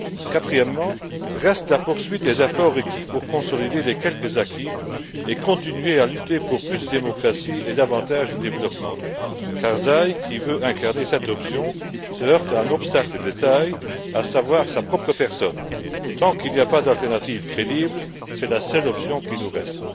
Quatrièmement, reste la poursuite des efforts requis pour consolider les quelques acquis et continuer à lutter pour plus de démocratie et davantage de développement. Karzaï, qui veut incarner cette option, se heurte à un obstacle de taille, à savoir sa propre personne. Tant qu'il n'y a pas d'alternative crédible, c'est la seule option qui nous reste.